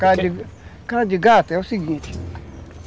Cara de gato é o seguinte.